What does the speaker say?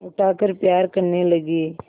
उठाकर प्यार करने लगी